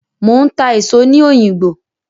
Mò ń ta èso ní òyìngbò.